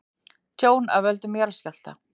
Tjón af völdum jarðskjálfta